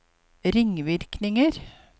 ringvirkninger